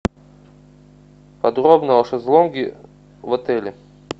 подробно о шезлонге в отеле